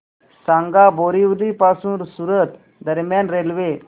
सांगा बोरिवली पासून सूरत दरम्यान रेल्वे